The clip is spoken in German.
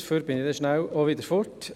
Dafür bin ich dann rasch wieder weg.